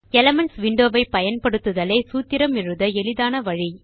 elements window ஐ பயன்படுத்துதலே சூத்திரம் எழுத எளிதான வழி